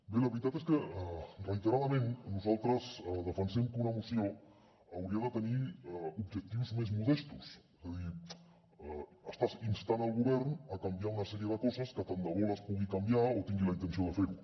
bé la veritat és que reiteradament nosaltres defensem que una moció hauria de tenir objectius més modestos és a dir estàs instant el govern a canviar una sèrie de coses que tant de bo les pugui canviar o tingui la intenció de fer ho